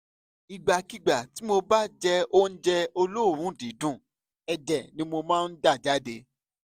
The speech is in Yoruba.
ìgbàkigbà tí mo bá jẹ oúnjẹ olóòórùn dídùn ẹ̀jẹ̀ ni mo máa ń dà jáde